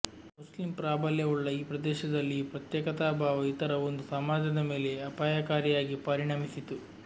Muslim ಪ್ರಾಬಲ್ಯವುಳ್ಳ ಈ ಪ್ರದೇಶದಲ್ಲಿ ಈ ಪ್ರತ್ಯೇಕತಾಭಾವ ಇತರ ಒಂದು ಸಮಾಜದ ಮೇಲೆ ಅಪಾಯಕಾರಿಯಾಗಿ ಪರಿಣಮಿಸಿತು